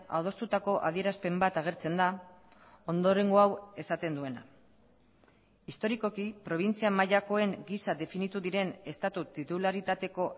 adostutako adierazpen bat agertzen da ondorengo hau esaten duena historikoki probintzia mailakoen gisa definitu diren estatu titularitateko